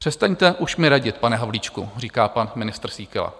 Přestaňte už mi radit, pane Havlíčku, říká pan ministr Síkela.